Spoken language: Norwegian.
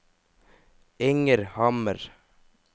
Inger Hammer